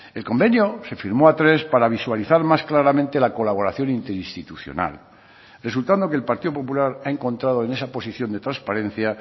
el convenio se firmó a tres para visualizar más claramente la colaboración interinstitucional resultando que el partido popular ha encontrado en esa posición de transparencia